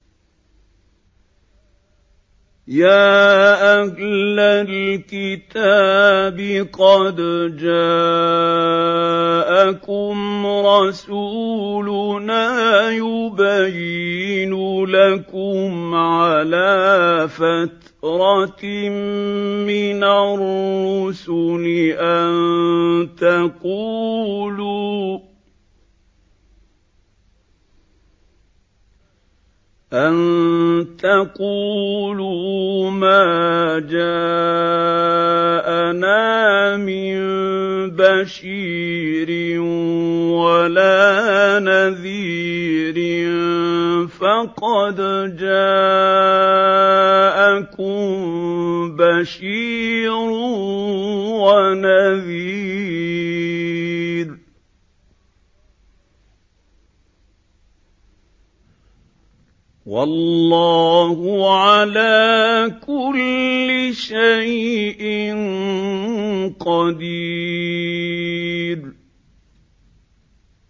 يَا أَهْلَ الْكِتَابِ قَدْ جَاءَكُمْ رَسُولُنَا يُبَيِّنُ لَكُمْ عَلَىٰ فَتْرَةٍ مِّنَ الرُّسُلِ أَن تَقُولُوا مَا جَاءَنَا مِن بَشِيرٍ وَلَا نَذِيرٍ ۖ فَقَدْ جَاءَكُم بَشِيرٌ وَنَذِيرٌ ۗ وَاللَّهُ عَلَىٰ كُلِّ شَيْءٍ قَدِيرٌ